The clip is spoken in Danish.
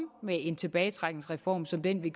med en tilbagetrækningsreform som den vi